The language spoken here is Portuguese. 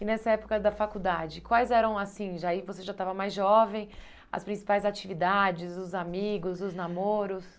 E nessa época da faculdade, quais eram, assim, já aí, você já estava mais jovem, as principais atividades, os amigos, os namoros?